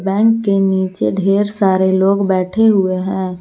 Bank के नीचे ढेर सारे लोग बैठे हुए हैं।